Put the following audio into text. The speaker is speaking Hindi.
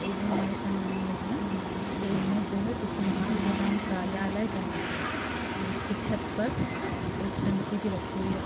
ये जो हमारे सामने इमेज है ये इमेज जो किसी माल गोदाम कार्यालय का इमेज है जिस की छत पर एक टंकी भी रखी हुई है|